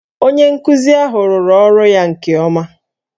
Onye nkuzi ahụ rụrụ ọrụ ya nke ọma